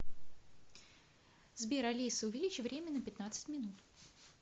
сбер алиса увеличь время на пятнадцать минут